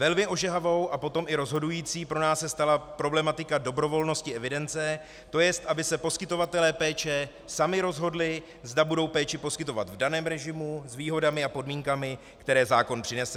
Velmi ožehavou a potom i rozhodující pro nás se stala problematika dobrovolnosti evidence, to jest, aby se poskytovatelé péče sami rozhodli, zda budou péči poskytovat v daném režimu, s výhodami a podmínkami, které zákon přinese.